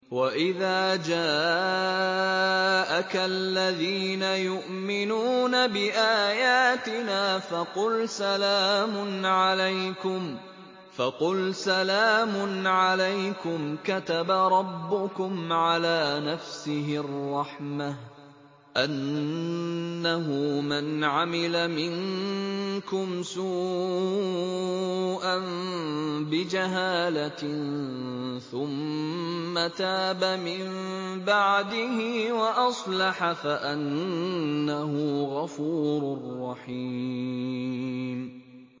وَإِذَا جَاءَكَ الَّذِينَ يُؤْمِنُونَ بِآيَاتِنَا فَقُلْ سَلَامٌ عَلَيْكُمْ ۖ كَتَبَ رَبُّكُمْ عَلَىٰ نَفْسِهِ الرَّحْمَةَ ۖ أَنَّهُ مَنْ عَمِلَ مِنكُمْ سُوءًا بِجَهَالَةٍ ثُمَّ تَابَ مِن بَعْدِهِ وَأَصْلَحَ فَأَنَّهُ غَفُورٌ رَّحِيمٌ